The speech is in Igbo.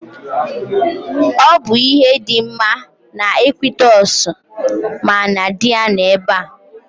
Ọ bụ ihe dị mma na Ekwitọsị ma na dị ya nọ ebe.